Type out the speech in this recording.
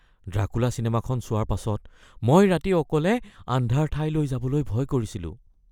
Dracula চিনেমাখন চোৱাৰ পাছত মই ৰাতি অকলে আন্ধাৰ ঠাইলৈ যাবলৈ ভয় কৰিছিলোঁ